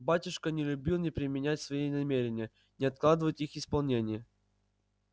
батюшка не любил ни применять свои намерения ни откладывать их исполнение